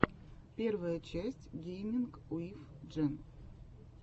первая часть гейминг уив джен